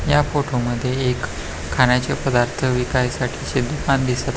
ह्या फोटो मध्ये खाण्याचे पदार्थ विकायसाठीचे एक दुकान दिस --